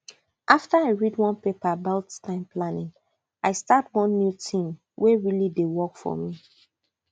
after i read one paper about time planning i start one new tin wey really dey work for me